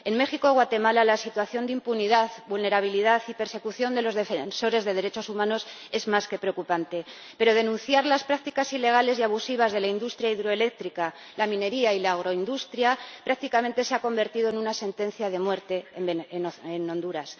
En México y Guatemala la situación de impunidad, vulnerabilidad y persecución de los defensores de derechos humanos es más que preocupante, pero denunciar las prácticas ilegales y abusivas de la industria hidroeléctrica, la minería y la agroindustria se ha convertido prácticamente en una sentencia de muerte en Honduras.